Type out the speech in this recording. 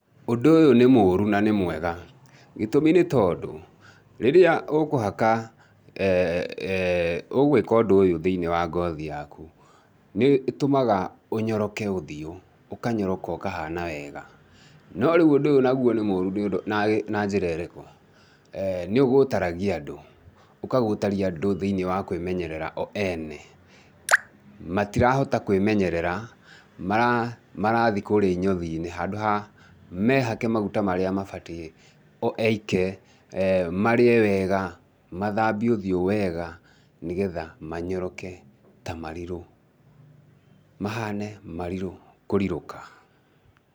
Ũndũ ũyũ nĩ mũũru na nĩ mwega, gĩtũmi nĩ tondũ, rĩrĩa ũkũhaka, ũgwĩka ũndũ ũyũ thĩinĩ wa ngothi yaku, nĩ ĩtũmaga ũnyoroke ũthiũ, ũkanyoroka ũkahana wega. No rĩu ũndũ ũyũ naguo nĩ mũũru na njĩra ĩrĩkũ? Nĩ ũgũtaragia andũ, ũkagũtaria andũ thĩinĩ wa kwĩmenyerera o ene, matirahota kwĩmenyerera, marathi kũũrĩa inyothi-inĩ handũ ha mehake maguta marĩa mabatiĩ o eike, marĩe wega, mathambie ũthiũ wega, nĩ getha manyoroke ta marirũ, mahane marirũ kũrirũka.